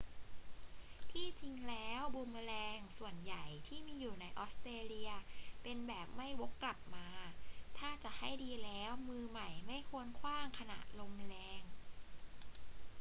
ที่จริงแล้วบูมเมอแรงส่วนใหญ่ที่มีอยู่ในออสเตรเลียเป็นแบบไม่วกกลับมา ถ้าจะให้ดีแล้ว มือใหม่ไม่ควรขว้างขณะลมแรง